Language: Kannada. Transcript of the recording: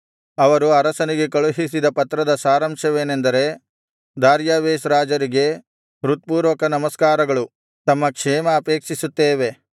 ಅವರು ಅರಸನಿಗೆ ಕಳುಹಿಸಿದ ಪತ್ರದ ಸಾರಾಂಶವೇನೆಂದರೆ ದಾರ್ಯಾವೆಷ್ ರಾಜರಿಗೆ ಹೃತ್ಪೂರ್ವಕ ನಮಸ್ಕಾರಗಳು ತಮ್ಮ ಕ್ಷೇಮ ಅಪೇಕ್ಷಿಸುತ್ತೇವೆ